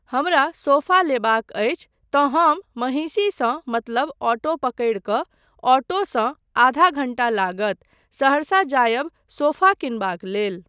हमरा सोफा लेबाक अछि तँ हम महिषीसँ मतलब ऑटो पकड़ि कऽ, ऑटोसँ आधा घण्टा लागत, सहरसा जायब सोफा किनबाक लेल।